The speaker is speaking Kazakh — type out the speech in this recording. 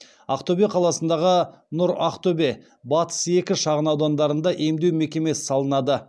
ақтөбе қаласындағы нұр ақтөбе батыс екі шағын аудандарында емдеу мекемесі салынады